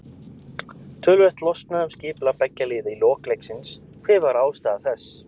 Töluvert losnaði um skipulag beggja liða í lok leiksins, hver var ástæða þess?